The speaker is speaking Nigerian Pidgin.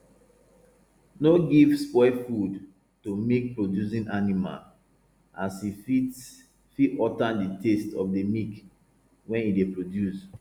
no give spoil food to milkproducing animal as e fit fit alter the taste of the milk wey e dey produce